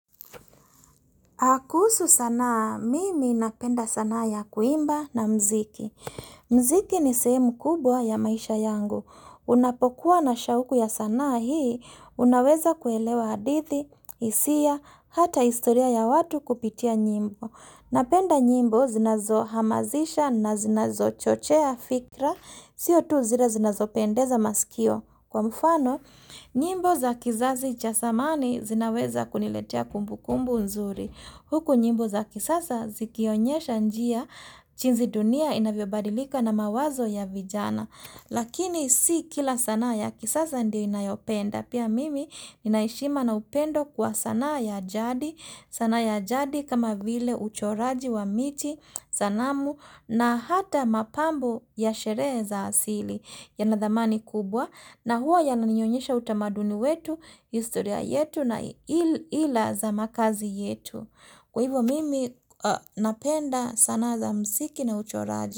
Akusu sanaa, mimi napenda sanaa ya kuimba na mziki. Mziki ni sehemu kubwa ya maisha yangu. Unapokuwa na shauku ya sanaa hii, unaweza kuelewa hadithi, isia, hata historia ya watu kupitia nyimbo. Napenda nyimbo zinazo hamazisha na zinazo chochea fikra, sio tu zire zinazo pendeza masikio. Kwa mfano, nyimbo za kizazi chasamani zinaweza kuniletea kumbu kumbu nzuri. Huku nyimbo za kisasa zikionyesha njia chinzi dunia inavyo badilika na mawazo ya vijana. Lakini si kila sanaa ya kisasa ndio inayopenda. Pia mimi inaishima na upendo kwa sanaa ya ajadi. Sanaa ya ajadi kama vile uchoraji wa miti, sanamu na hata mapambo ya sheree za asili yana dhamani kubwa. Na huwa ya naninyonyesha utamaduni wetu, istoria yetu na ila za makazi yetu. Kwa hivyo mimi napenda sana za msiki na ucho raji.